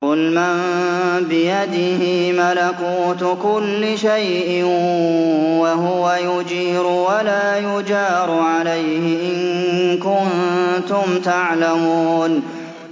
قُلْ مَن بِيَدِهِ مَلَكُوتُ كُلِّ شَيْءٍ وَهُوَ يُجِيرُ وَلَا يُجَارُ عَلَيْهِ إِن كُنتُمْ تَعْلَمُونَ